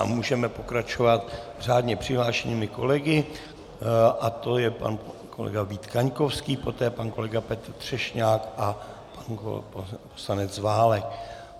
A můžeme pokračovat řádně přihlášenými kolegy a to je pan kolega Vít Kaňkovský, poté pan kolega Petr Třešňák a pan poslanec Válek.